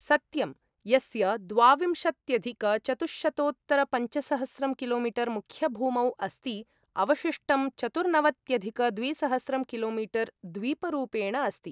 सत्यं, यस्य द्वाविंशत्यधिकचतुश्शतोत्तरपञ्चसहस्रं किलोमीटर् मुख्यभूमौ अस्ति, अवशिष्टं चतुर्नवत्यधिकद्विसहस्रं किलोमीतर् द्वीपरूपेण अस्ति।